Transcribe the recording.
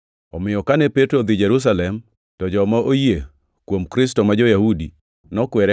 Omiyo kane Petro odhi Jerusalem, to joma oyie kuom Kristo ma jo-Yahudi nokwere